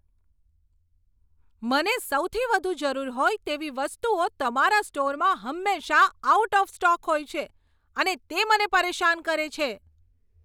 મને સૌથી વધુ જરૂર હોય તેવી વસ્તુઓ તમારા સ્ટોરમાં હંમેશાં આઉટ ઓફ સ્ટોક હોય છે અને તે મને પરેશાન કરે છે.